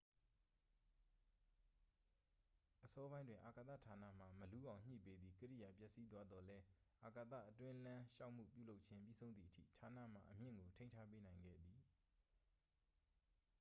အစောပိုင်းတွင် အာကာသ ဌာနမှ မလူးအောင်ညှိပေးသည့် ကိရိယာ ပျက်စီးသွားသောလည်း အာကာသအတွင်းလမ်းလျှောက်မှု ပြုလုပ်ခြင်း ပြီးဆုံးသည်အထိ ဌာနမှ အမြင့်ကို ထိန်းထားပေးနိုင်ခဲ့သည်